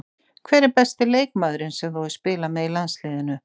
Hver er besti leikmaðurinn sem þú hefur spilað með í landsliðinu?